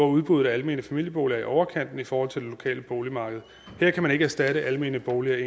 udbuddet af almene familieboliger er i overkanten i forhold til det lokale boligmarked her kan man ikke erstatte almene boliger